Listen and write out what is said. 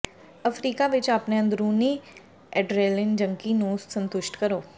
Africa ਵਿੱਚ ਆਪਣੇ ਅੰਦਰੂਨੀ ਐਡਰੇਲਿਨ ਜੰਕੀ ਨੂੰ ਸੰਤੁਸ਼ਟ ਕਰੋ